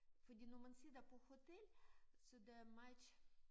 Fordi når man sidder på hotel så der meget